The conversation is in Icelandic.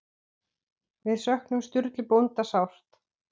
Við söknum Sturlu bónda sárt.